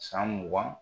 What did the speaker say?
San mugan